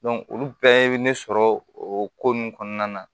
olu bɛɛ bɛ ne sɔrɔ o ko nunnu kɔnɔna na